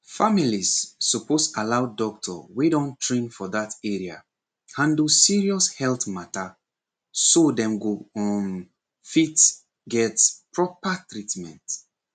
families suppose allow doctor wey don train for that area handle serious health matter so dem go um fit get proper treatment